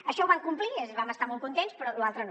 això ho van complir vam estar molt contents però lo altre no